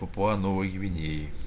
папуа новой гвинеи